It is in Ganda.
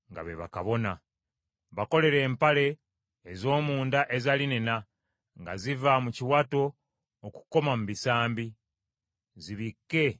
“Bakolere empale ez’omunda eza linena, nga ziva mu kiwato okukoma mu bisambi, zibikke omubiri gwabwe.